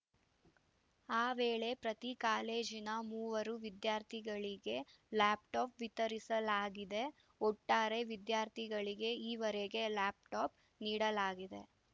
ಆ ವೇಳೆ ಪ್ರತಿ ಕಾಲೇಜಿನ ಮೂವರು ವಿದ್ಯಾರ್ಥಿಗಳಿಗೆ ಲ್ಯಾಪ್‌ಟಾಪ್‌ ವಿತರಿಸಲಾಗಿದೆ ಒಟ್ಟಾರೆ ವಿದ್ಯಾರ್ಥಿಗಳಿಗೆ ಈವರೆಗೆ ಲ್ಯಾಪ್‌ಟಾಪ್‌ ನೀಡಲಾಗಿದೆ